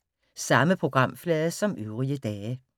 Samme programflade som øvrige dage